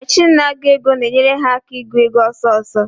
Mechin na-agụ ego na-enyere ha aka ị gụ ego ọsọsọ.